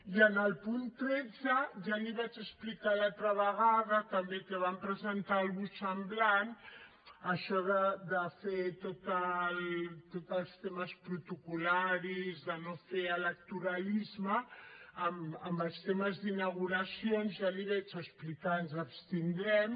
i en el punt tretze i ja l’hi vaig explicar l’altra vegada també que van presentar alguna cosa semblant això de fer tots els temes protocol·laris de no fer electoralisme amb els temes d’inauguracions ja l’hi vaig explicar ens abstindrem